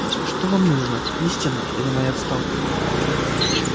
что вам нужно истина или моя отставка